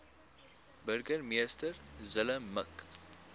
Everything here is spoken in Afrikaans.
burgemeester zille mik